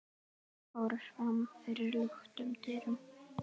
fóru fram fyrir luktum dyrum.